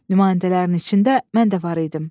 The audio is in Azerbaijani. Nümayəndələrin içində mən də var idim.